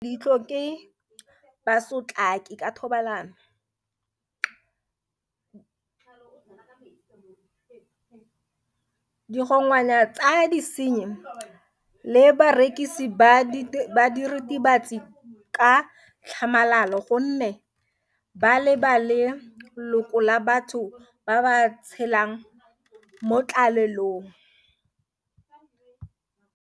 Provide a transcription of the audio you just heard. Bana ba le bantsi ba beilwe leitlho ke basotlakaki ka thobalano, digongwana tsa disenyi le barekisi ba diritibatsi ka tlhamalalo gonne ba leba le loko la batho ba ba tshelang mo tlalelong.